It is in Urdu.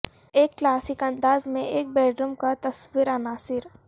ایک کلاسک انداز میں ایک بیڈروم کا تصور عناصر